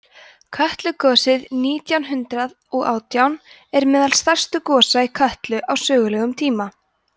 kötlugosið nítján hundrað og átján er meðal stærstu gosa í kötlu á sögulegum tíma